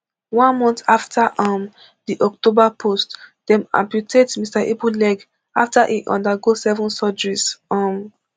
one month afta um di october post dem amputate mr ibu leg afta e undergo seven surgeries um